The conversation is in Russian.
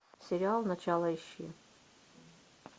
сериал начало ищи